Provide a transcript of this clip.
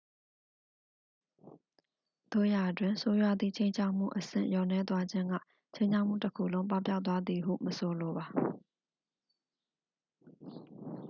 သို့ရာတွင် ဆိုးရွားသည့် ခြိမ်းခြောက်မှု အဆင့်လျော့နည်းသွားခြင်းက ခြိမ်းခြောက်မှုတစ်ခုလုံး ပပျောက်သွားသည်ဟု မဆိုလိုပါ